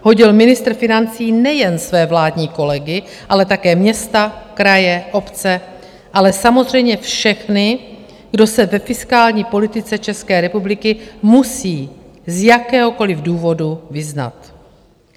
hodil ministr financí nejen své vládní kolegy, ale také města, kraje, obce, ale samozřejmě všechny, kdo se ve fiskální politice České republiky musí z jakéhokoliv důvodu vyznat.